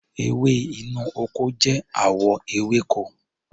Ewé inú ọkọ jẹ́ àwọ ewéko.